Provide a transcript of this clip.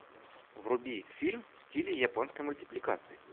вруби фильм в стиле японской мультипликации